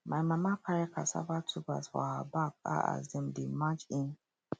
my mama carry cassava tubers for her back um as dem dey march in